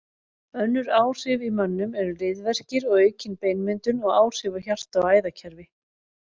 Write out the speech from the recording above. Önnur áhrif í mönnum eru liðverkir og aukin beinmyndun og áhrif á hjarta og æðakerfi.